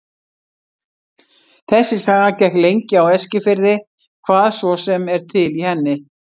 Þessi saga gekk lengi á Eskifirði, hvað svo sem er til í henni.